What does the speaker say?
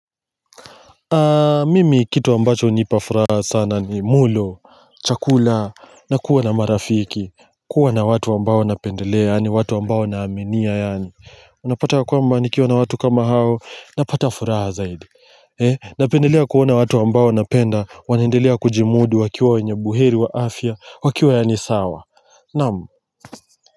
Mimi kitu ambacho hunipafuraha sana ni mulo chakula na kuwa na marafiki kuwa na watu ambao napendelea yaani watu ambao naaminia yaani Unapata ya kwamba nikiwa na watu kama hao napata furaha zaidi Eh napendelea kuona watu ambao napenda wanaendelea kujimudu wakiwa wenye buheri wa afya wakiwa yaani sawa naam.